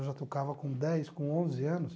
Eu já tocava com dez, com onze anos.